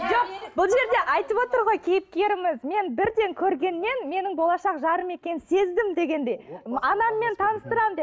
жоқ бұл жерде айтып отыр ғой кейіпкеріміз мен бірден көргеннен менің болашақ жарым екенін сездім дегенде анаммен мен таныстырамын деп